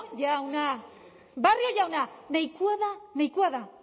jauna nahikoa da nahikoa da